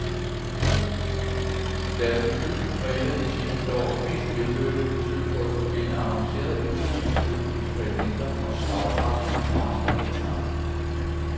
Deres debut var et af de seneste års mest vellykkede forsøg på at forbinde avancerede elektroniske eksperimenter og slagkraftige monsterguitarer.